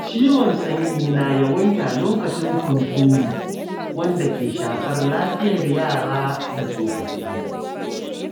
Ciwon sanyi na yawaita lokacin hunturu, wanda ke shafar lafiyar yara da tsofaffi.